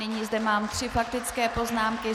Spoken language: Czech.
Nyní zde mám tři faktické poznámky.